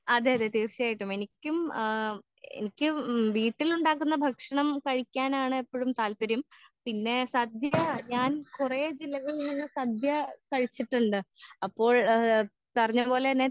അതെ അതെ തീർച്ചായിട്ടും എനിക്കും ആ എനിക്കും വീട്ടിൽ ഉണ്ടാക്കുന്ന ഭക്ഷണം കഴിക്കാനാണ് എപ്പഴും താല്പര്യം പിന്നെ സദ്യ ഞാൻ കൊറേ ദിവസം ഇങ്ങനെ സദ്യ കഴിച്ചിട്ടിണ്ട് അപ്പോഴ് പറഞ്ഞപോലെ തന്നെ